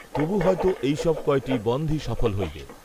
তবু হয়তো এই সব কয়টি বনধই সফল হইবে